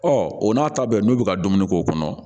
o n'a ta bɛɛ n'u bɛ ka dumuni k'o kɔnɔ